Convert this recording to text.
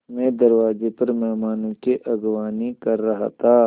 मैं दरवाज़े पर मेहमानों की अगवानी कर रहा था